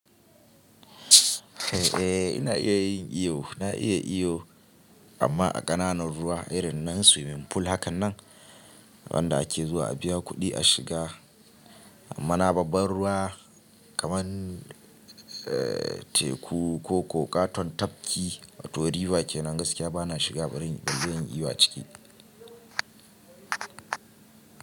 Eh, ina iya yin iyo. Na iya iyo amma a ƙananan ruwa irin na swimming pool hakan nan wanda ake zuwa a biya kuɗi a shiga. Amma na babban ruwa kaman teku ko ƙoƙa katon tafki wato river kenan gaskiya bana shiga bari in yi iyo a ciki.